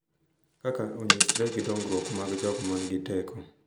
Kaka onyisre gi dongruok mar jogo ma nigi teko